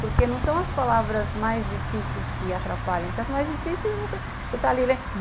Porque não são as palavras mais difíceis que atrapalham, porque as mais difíceis você está ali len